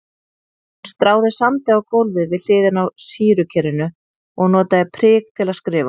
Hún stráði sandi á gólfið við hliðina á sýrukerinu og notaði prik til að skrifa.